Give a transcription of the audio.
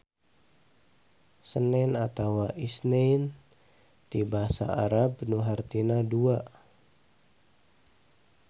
Senen atawa Isnain ti basa Arab nu hartina dua.